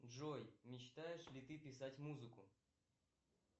джой мечтаешь ли ты писать музыку